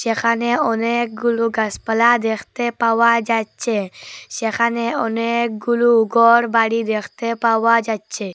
এখানে অনেকগুলো গাসপালা দেখতে পাওয়া যাচ্ছে সেখানে অনেকগুলু ঘরবাড়ি দেখতে পাওয়া যাচ্ছে।